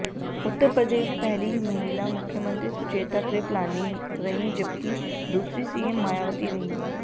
उत्तर प्रदेश में पहली महिला मुख्यमंत्री सुचेता कृृपलानी रहीं जबकि दूसरी सीएम मायावती रहीं